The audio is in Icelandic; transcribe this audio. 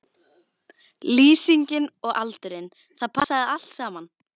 Lýsingin og aldurinn, það passaði allt saman.